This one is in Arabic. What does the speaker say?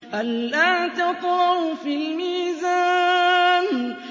أَلَّا تَطْغَوْا فِي الْمِيزَانِ